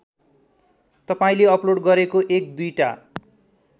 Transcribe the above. तपाईँले अपलोड गरेको एक दुईटा